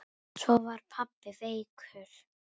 Svo var pabbi veikur.